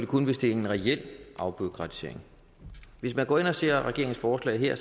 kun hvis det er en reel afbureaukratisering hvis man går ind og ser på regeringens forslag her